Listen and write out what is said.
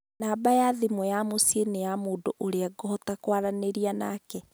namba ya thimũ ya mũciĩ nĩ ya mũndũ ũrĩa ngũhota kwaranĩria nake